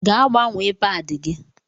Gaa gbanwee paadi gị!